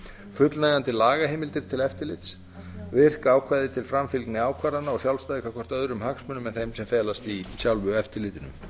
fullnægjandi lagaheimildir til eftirlits virki ákvæði til framfylgni ákvarðana og sjálfstæði gagnvart öðrum hagsmunum en þeim sem felast í sjálfu eftirlitinu